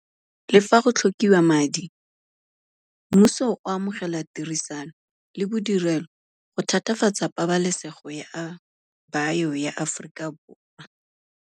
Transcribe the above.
Le fa go tlhokiwa madi, mmuso o amogela tirisano le bodirelo go thatafatsa pabalesego ya bio ya Aforikaborwa.